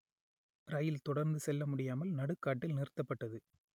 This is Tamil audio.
ரயில் தொடர்ந்து செல்ல முடியாமல் நடுக்காட்டில் நிறு‌த்த‌ப்ப‌ட்டது